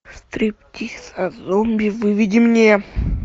стриптиз от зомби выведи мне